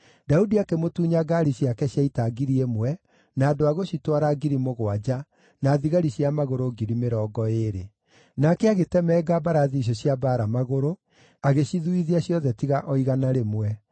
Daudi akĩmũtunya ngaari ciake cia ita ngiri ĩmwe, na andũ a gũcitwara ngiri mũgwanja, na thigari cia magũrũ ngiri mĩrongo ĩĩrĩ. Nake agĩtemenga mbarathi icio cia mbaara magũrũ, agĩcithuithia ciothe tiga o igana rĩmwe.